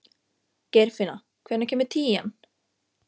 Geirfinna, hvenær kemur tían?